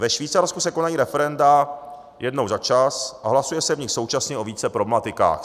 Ve Švýcarsku se konají referenda jednou za čas a hlasuje se v nich současně o více problematikách.